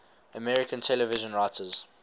american television writers